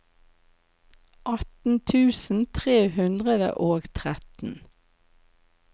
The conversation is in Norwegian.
atten tusen tre hundre og tretten